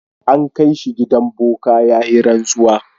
An kai shi gidan boka ya yi rantsuwa.